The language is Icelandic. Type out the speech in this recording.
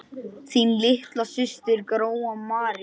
Þín litla systir, Gróa María.